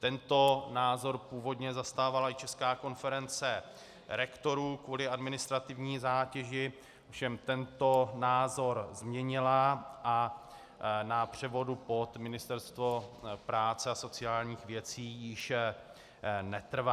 Tento názor původně zastávala i Česká konference rektorů kvůli administrativní zátěži, ovšem tento názor změnila a na převodu pod Ministerstvo práce a sociálních věcí již netrvá.